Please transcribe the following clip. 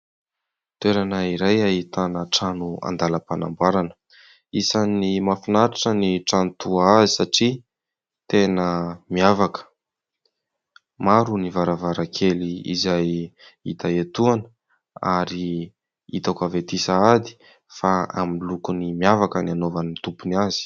Toerana iray ahitana trano andalam-panamboarana . Isan'ny mahafinatritra ny trano toa azy satria tena miavaka. Maro ny varavaran-kely izay hita etoana ary hitako avy ety sahady fa amin'ny loko ny miavaka ny hanaovan'ny tompony azy.